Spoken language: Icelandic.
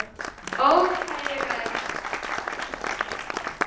Ó, hvað ég græt.